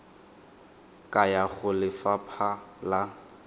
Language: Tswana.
ka ya go lefapha la